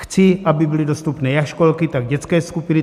Chci, aby byly dostupné jak školky, tak dětské skupiny.